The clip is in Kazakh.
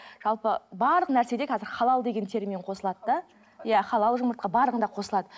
жалпы барлық нәрседе қазір халал деген термин қосылады да иә халал жұмыртқа барлығында қосылады